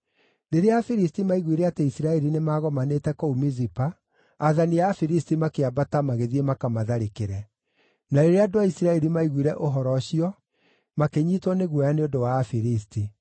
Rĩrĩa Afilisti maaiguire atĩ Isiraeli maagomanĩte kũu Mizipa, aathani a Afilisti makĩambata magĩthiĩ makamatharĩkĩre. Na rĩrĩa andũ a Isiraeli maaiguire ũhoro ũcio, makĩnyiitwo nĩ guoya nĩ ũndũ wa Afilisti.